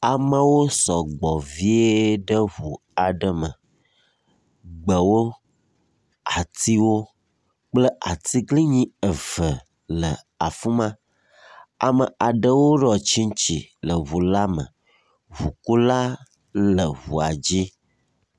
Amewo sɔ gbɔ vie ɖe ŋu aɖe me. Gbewo atiwo kple atiglinyi eve le afi ma ame aɖewo ɖɔ tsitsi le ŋu la me. Ŋukula le ŋua dzi.